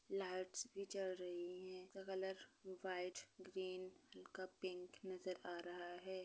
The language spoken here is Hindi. लाइटस भी जल रही है इसका कलर व्हाइट ग्रीन हल्का पिंक नजर आ रहा है।